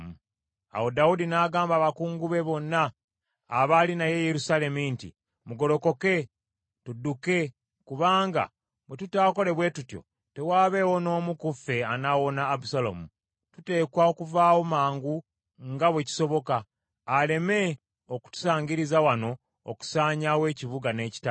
Awo Dawudi n’agamba abakungu be bonna abaali naye e Yerusaalemi nti, “Mugolokoke tudduke kubanga bwe tutaakole bwe tutyo tewaabeewo n’omu ku ffe anaawona Abusaalomu. Tuteekwa okuvaawo amangu nga bwe kisoboka, aleme okutusaangiriza wano okusaanyaawo ekibuga n’ekitala.”